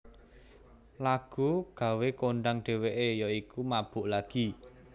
Lagu gawé kondhang dheweke ya iku Mabuk Lagi